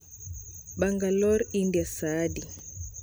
Bangalore india saa adi